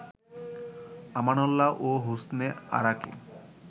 আমানউল্লাহ ও হোসনে আরাকে